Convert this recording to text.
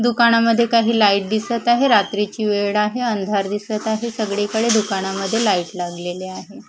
दुकानामध्ये काही लाईट दिसत आहे रात्रीची वेळ आहे अंधार दिसत आहे सगळीकडे दुकानामध्ये लाईट लागलेली आहे.